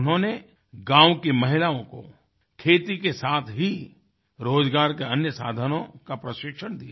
उन्होंने गाँव की महिलाओं को खेती के साथ ही रोज़गार के अन्य साधनों का प्रशिक्षण दिया